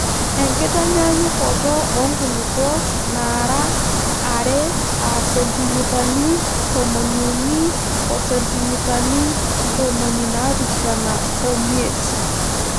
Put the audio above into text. Enkitanyaanyukot oo nkulupuok naara are aa sentimitani tomoniuni o sentimitani ntomoni naapishana omiet.